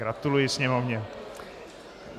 Gratuluji Sněmovně.